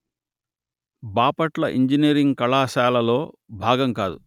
Bapatla engineering కళాశాలలో భాగం కాదు